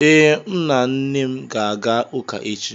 Ee, M na nna m ga-aga ụka echi